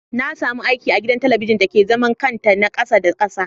Nasamu aiki agidan talabijin dake zaman kanta na kasa Da kasa.